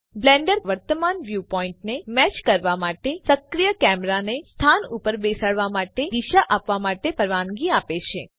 Blender તમને તમારા વર્તમાન વ્યુ પોઈન્ટને મેચ કરવા માટે સક્રિય કેમેરાને સ્થાન ઉપર બેસાડવા માટે અને દિશા આપવા માટેની પરવાનગી આપે છે